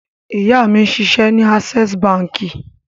Ìyá mi ń ṣiṣẹ́ ní Access Báńkì.